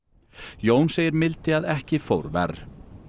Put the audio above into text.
Jón segir mildi að ekki fór verr